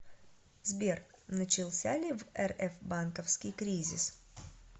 сбер начался ли в рф банковский кризис